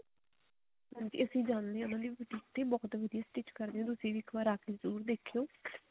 ਹਾਂਜੀ ਅਸੀਂ ਜਾਂਦੇ ਹਾਂ ਉਹਨਾ ਦੇ boutique ਤੇ ਬਹੁਤ ਵਧੀਆ stitch ਕਰਦੇ ਨੇ ਤੁਸੀਂ ਵੀ ਆ ਕੇ ਇੱਕ ਵਾਰੀ ਜਰੁਰ ਦੇਖਿਓ